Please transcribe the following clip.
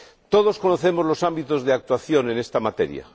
Todos conocemos los ámbitos de actuación en esta materia.